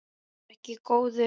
Vertu ekki góður.